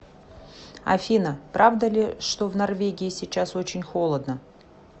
афина правда ли что в норвегии сейчас очень холодно